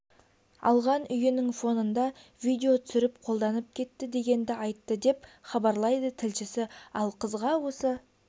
алған үйінің фонында видео түсіріп қолданып кетті дегенді айтты деп хабарлайды тілшісі ал қызға осы